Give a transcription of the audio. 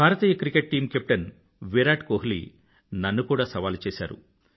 భారతీయ cricket team captain Virat Kohli నన్ను కూడా సవాలు చేసాడు